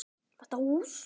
Þetta hús?